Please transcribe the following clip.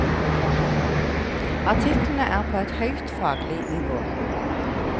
Artiklene er på et høyt faglig nivå.